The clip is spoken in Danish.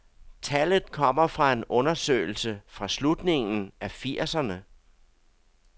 Tallet kommer fra en undersøgelse fra slutningen af firserne.